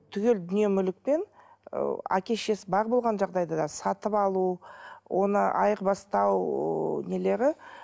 түгел дүние мүлікпен ы әке шешесі бар болған жағдайда да сатып алу оны айырбастау ыыы нелері